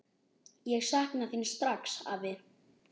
Ég sakna þín strax, afi.